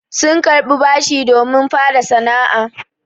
Sun jaɓi bashi domin fara sana'a.